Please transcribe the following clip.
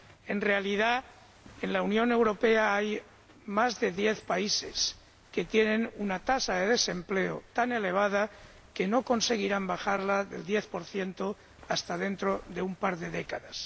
En realidad, en la Unión Europea hay más de diez países que tienen una tasa de desempleo tan elevada que no conseguirán bajarla del diez por ciento hasta dentro de un par de décadas.